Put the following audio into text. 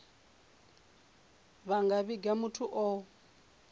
vha nga vhiga muthu o